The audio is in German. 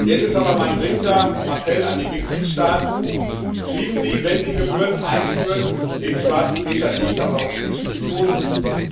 Jetzt ist aber mein dringender Appell an die Mitgliedstaaten Schieben Sie, wenn Sie Gebühren einführen, den schwarzen Peter nicht der Europäischen Union zu!